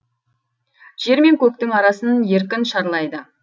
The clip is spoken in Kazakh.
жер мен көктің арасын еркін шарлайды